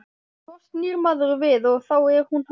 Svo snýr maður við og þá er hún horfin.